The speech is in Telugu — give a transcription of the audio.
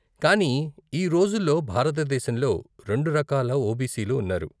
కానీ ఈ రోజుల్లో భారతదేశంలో రెండు రకాల ఓబీసీలు ఉన్నారు.